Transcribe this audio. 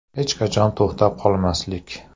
Hech qachon to‘xtab qolmaslik.